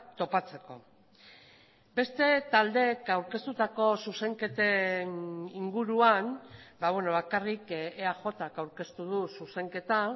topatzeko beste taldeek aurkeztutako zuzenketen inguruan bakarrik eajk aurkeztu du zuzenketa